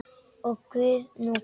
Og hvað nú Guð minn?